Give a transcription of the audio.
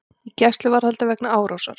Í gæsluvarðhaldi vegna árásar